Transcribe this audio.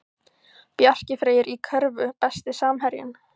Bjarki Freyr í körfu Besti samherjinn?